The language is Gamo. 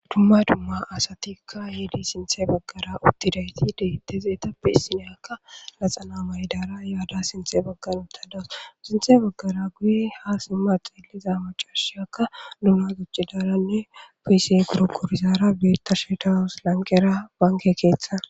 Dumma dumma asatika yid sinthe bagara utudayit heyit betizaytappe issinya laxana mayidara yada sinthe bagara utadus . Sinthe bagara guye ha sima xeliza macashiyka gujidaranne PC goragorizara beyashe dawus , lanqera banke ketha